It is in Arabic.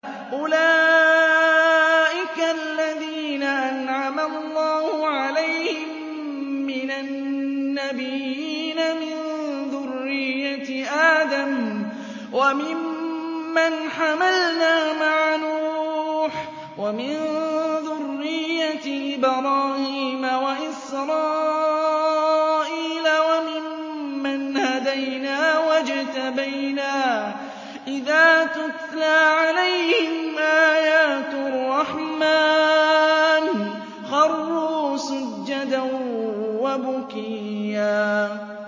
أُولَٰئِكَ الَّذِينَ أَنْعَمَ اللَّهُ عَلَيْهِم مِّنَ النَّبِيِّينَ مِن ذُرِّيَّةِ آدَمَ وَمِمَّنْ حَمَلْنَا مَعَ نُوحٍ وَمِن ذُرِّيَّةِ إِبْرَاهِيمَ وَإِسْرَائِيلَ وَمِمَّنْ هَدَيْنَا وَاجْتَبَيْنَا ۚ إِذَا تُتْلَىٰ عَلَيْهِمْ آيَاتُ الرَّحْمَٰنِ خَرُّوا سُجَّدًا وَبُكِيًّا ۩